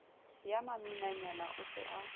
ya maminanyana o se a